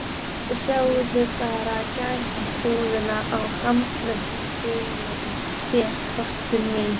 Sjáðu bara gæsahúðina á handleggjunum á þér, ástin mín.